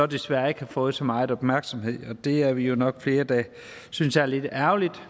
desværre ikke har fået så meget opmærksomhed og det er vi jo nok flere der synes er lidt ærgerligt